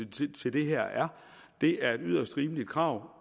til til det her er det er et yderst rimeligt krav